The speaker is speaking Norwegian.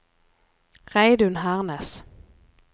Reidun Hernes